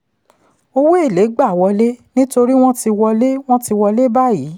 owó èlé gba wọlé nítorí wọ́n ti wọlé wọ́n ti wọlé báyìí.